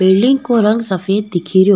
Building को रंग सफ़ेद दिखेरो।